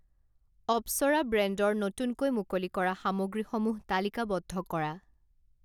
অপ্সৰা ব্ৰেণ্ডৰ নতুনকৈ মুকলি কৰা সামগ্ৰীসমূহ তালিকাবদ্ধ কৰা।